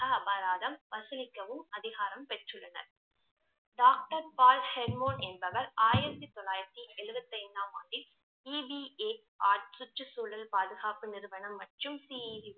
அபராதம் வசூலிக்கவும் அதிகாரம் பெற்றுள்ளன doctor பால் ஷெட்மோட் என்பவர் ஆயிரத்தி தொள்ளாயிரத்தி எழுவத்தி ஐந்தாம் ஆண்டில் சுற்றுச்சூழல் பாதுகாப்பு நிறுவனம் மற்றும்